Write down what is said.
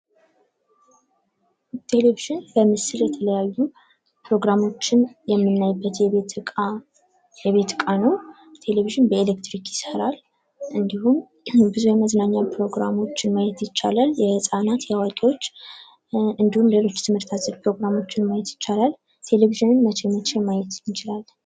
ቴሌቪዥን በምስል የተለያዩ ፕሮግራሞችን የምን አይበት የቤት ዕቃ ነው ቴሌቪዥን በኤሌትሪክ ይሰራል እንዲሁም ብዙ የመዝናኛ ፕሮግራሞችን ማየት ይቻላል የህፃናት የአዋቂዎች እንዲሁም ሌሎች ትምህርት አዘል ፕሮግራሞችን ማየት ይቻላል ቴሌቪዥንን መቼ መቼ ማየት እንችላለን።